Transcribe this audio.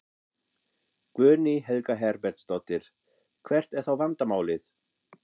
Guðný Helga Herbertsdóttir: Hvert er þá vandamálið?